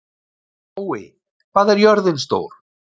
Spói, hvað er jörðin stór?